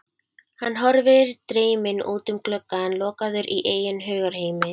Hann horfir dreyminn út um gluggann, lokaður í eigin hugarheimi.